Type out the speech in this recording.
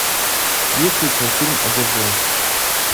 есть ли у тебя фильм одержимость